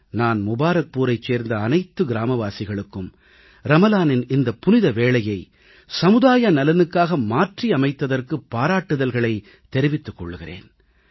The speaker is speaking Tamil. நான் முபாரக்பூரைச் சேர்ந்த அனைத்து கிராமவாசிகளுக்கும் ரமலானின் இந்த புனித வேளையை சமுதாய நலனுக்காக மாற்றியமைத்ததற்கு பாராட்டுதல்களைத் தெரிவித்துக் கொள்கிறேன்